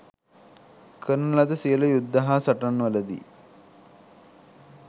කරන ලද සියලු යුද්ධ හා සටන්වලදී